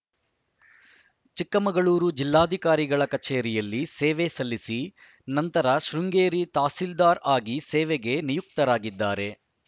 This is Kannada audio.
ಚಿಕ್ಕಮಗಳೂರು ಜಿಲ್ಲಾಧಿಕಾರಿಗಳ ಕಚೇರಿಯಲ್ಲಿ ಸೇವೆ ಸಲ್ಲಿಸಿ ನಂತರ ಶೃಂಗೇರಿ ತಹಸೀಲ್ದಾರ್‌ ಆಗಿ ಸೇವೆಗೆ ನಿಯುಕ್ತರಾಗಿದ್ದಾರೆ